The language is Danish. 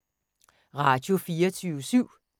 Radio24syv